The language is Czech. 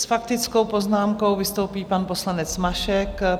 S faktickou poznámkou vystoupí pan poslanec Mašek.